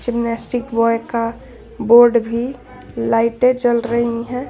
Gymnastic boy का board भी light जल रही है।